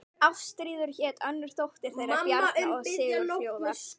Ástríður hét önnur dóttir þeirra Bjarna og Sigurfljóðar.